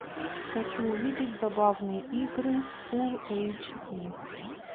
хочу увидеть забавные игры фулл эйч ди